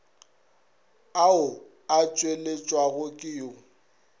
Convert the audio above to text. ao a tšweletšwago ke yo